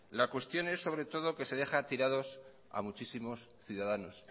la cuestión es sobre todo que se deja tirados a muchos ciudadanos